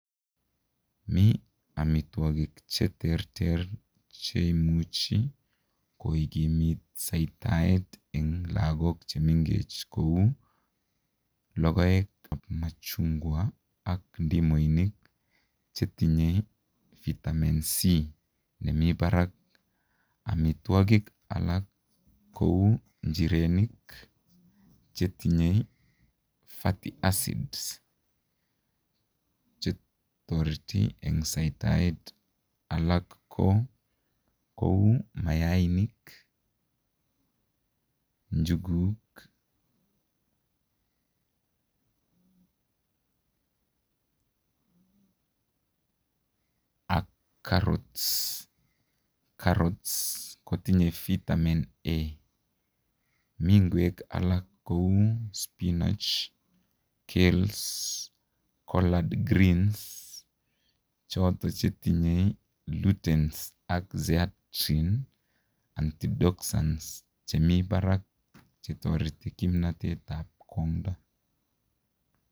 Mi amitwokik cheterter cheimuchi kokimit seitaet eng lakok chemengech, kou lokoek, machungwa, al ndimuinik chetinye vitamen C chemi barak, amitwokik alak kou inchirenik chetinye fatty acids chetoreti eng seitaet, alak ko kau mayainik, nchukuk, ak carrots, carrots kotinye vitamen A ,mi ngwek alak kou spinaj, kales, kolard greens choton chetinye lutens ak liatrin, anti doksan chemi barak chetoreti kimnatet chebo konda.